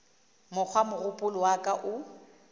mokgwa mogopolo wa ka o